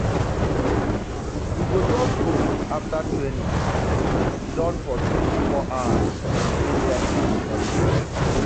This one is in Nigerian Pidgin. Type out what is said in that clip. we go just go afta training and siddon for three four hours to spend time wit each oda.